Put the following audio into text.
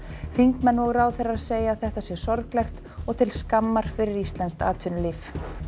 þingmenn og ráðherrar segja þetta sé sorglegt og til skammar fyrir íslenskt atvinnulíf